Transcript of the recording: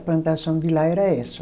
A plantação de lá era essa.